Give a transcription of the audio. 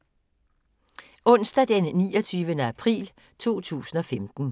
Onsdag d. 29. april 2015